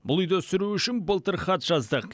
бұл үйді сүру үшін былтыр хат жаздық